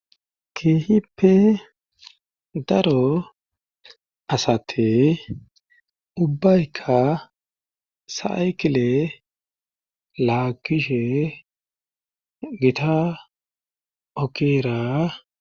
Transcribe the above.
kihippe daro asati ubbayka saykile laagishe gita ogera